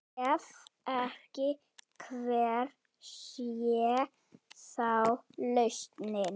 Ef ekki, hver sé þá lausnin?